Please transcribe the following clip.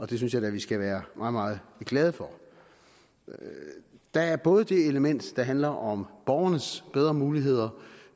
det synes jeg da at vi skal være meget meget glade for der er både det element der handler om borgernes bedre muligheder